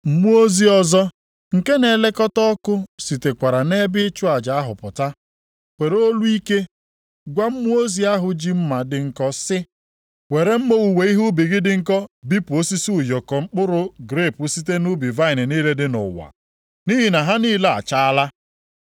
Mmụọ ozi ọzọ, nke na-elekọta ọkụ sitekwara nʼebe ịchụ aja ahụ pụta, were olu ike gwa mmụọ ozi ahụ ji mma dị nkọ sị, “Were mma owuwe ihe ubi gị dị nkọ bipụ osisi ụyọkọ mkpụrụ grepu site na vaịnị niile dị nʼụwa, nʼihi na ha niile achaala.”